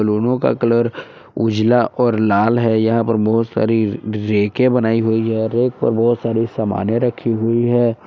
दोनों का कलर उजाला और लाल है यहां पर बहुत सारी रैंके बनाई हुई है और रैक पर बहुत सारी समाने रखी हुई है।